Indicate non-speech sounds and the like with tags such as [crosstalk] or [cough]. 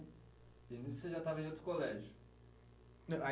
daí nisso você já estava em outro colégio? [unintelligible]